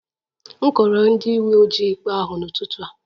M kọọrọ ndị uwe ojii ikpe ahụ n'ụtụtụ a